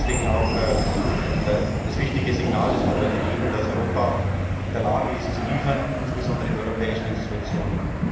Deswegen auch das wichtige Signal, das wir heute geben, dass Europa in der Lage ist, zu liefern, insbesondere die Europäischen Institutionen.